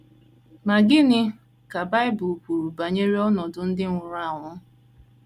Ma gịnị ka Bible kwuru banyere ọnọdụ ndị nwụrụ anwụ?